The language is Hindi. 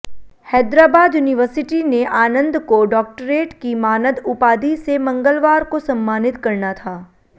हैदराबाद यूनिवर्सिटी ने आनंद को डॉक्टरेट की मानद उपाधि से मंगलवार को सम्मानित करना था